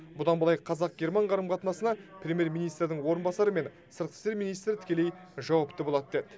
бұдан былай қазақ герман қарым қатынасына премьер министрдің орынбасары мен сыртқы істер министрі тікелей жауапты болады деді